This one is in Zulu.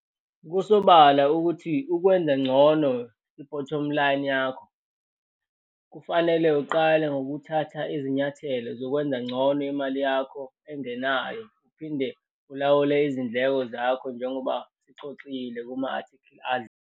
Kusobala ukuthi ukwenza ngcono i-bottom line yakho, kufanele uqale ngokuthatha izinyathelo zokwenza ngcono imali yakho engenayo uphinde ulawule izindleko zakho njengoba sixoxile kuma athikhili adlule.